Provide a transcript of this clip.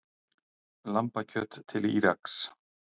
Lambakjöt til Íraks